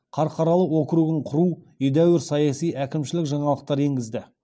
қарқаралы округін құру едәуір саяси әкімшілік жаңалықтар енгізді